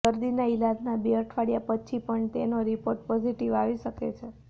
દર્દીના ઇલાજના બે અઠવાડિયા પછી પણ તેનો રિપોર્ટ પોઝિટીવ આવી શકે છે